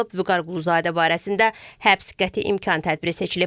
Vüqar Quluzadə barəsində həbs qəti imkan tədbiri seçilib.